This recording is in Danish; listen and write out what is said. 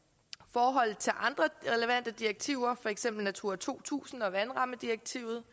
forholdet til andre relevante direktiver for eksempel natura to tusind og vandrammedirektivet